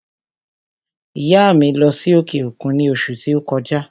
ìyá à mi lọ́ sí òkè òkun ní òṣù ti o kọjá.